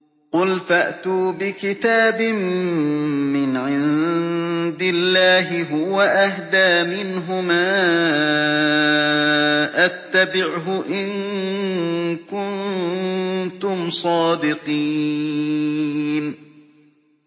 قُلْ فَأْتُوا بِكِتَابٍ مِّنْ عِندِ اللَّهِ هُوَ أَهْدَىٰ مِنْهُمَا أَتَّبِعْهُ إِن كُنتُمْ صَادِقِينَ